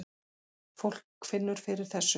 Fólk finnur fyrir þessu